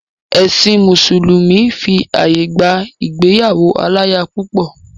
Ẹ̀sìn mùsùlùmí fi àyè gba ìgbéyàwó aláya púpọ̀.